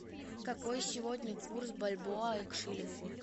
какой сегодня курс бальбоа к шиллингу